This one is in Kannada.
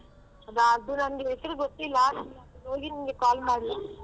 ಅದು ನನ್ಗೆ ಹೆಸ್ರು ಗೊತ್ತಿಲ್ಲ ಅಲ್ಲಿ ಹೋಗಿ ನಿನ್ಗೆ call ಮಾಡ್ಲಾ?